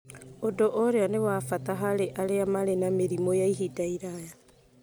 ũndũ ũrĩa nĩ wa bata harĩ arĩa marĩ na mĩrimũ ya ihinda iraya.